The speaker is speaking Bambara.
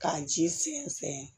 K'a ji sɛnsɛn